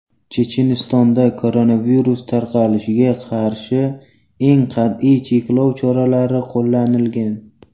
Chechenistonda koronavirus tarqalishiga qarshi eng qat’iy cheklov choralari qo‘llanilgan.